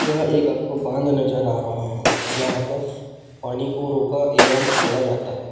यह एक आपको बांध नज़र आ रहा है जहाँ पर पानी को रोका एंम छोड़ा जाता है।